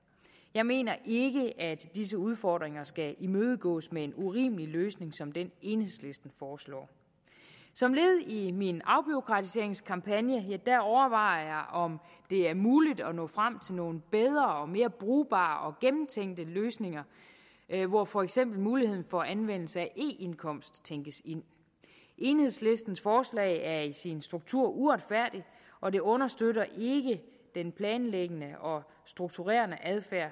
jeg mener ikke at disse udfordringer skal imødegås med en urimelig løsning som den enhedslisten foreslår som led i min afbureaukratiseringskampagne overvejer jeg om det er muligt at nå frem til nogle bedre mere brugbare og gennemtænkte løsninger hvor for eksempel muligheden for anvendelse af e indkomst tænkes ind enhedslistens forslag er i sin struktur uretfærdigt og det understøtter ikke den planlæggende og strukturerende adfærd